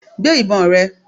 Gbé ìbọn rẹ!